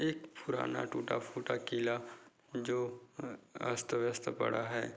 एक फुराना टूटा-फूटा किला जो अ अस्त व्यस्त पडा है।